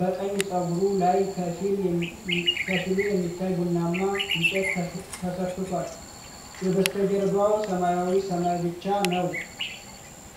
በቀኝ ጸጉሩ ላይ ከፊሉ የሚታይ ቡናማ እንጨት ተሰክቷል። የበስተጀርባው ሰማያዊ ሰማይ ብቻ ነው።